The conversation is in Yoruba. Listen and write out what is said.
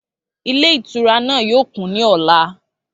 Ilé ìtura náà yóò kún ní ọ̀la